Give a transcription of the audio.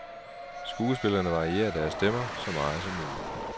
Skuespillerne varierer deres stemmer så meget som muligt.